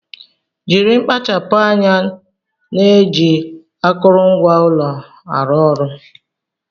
Jiri mkpachapu anya na-eji akụrụngwa ụlọ ọrụ ahụ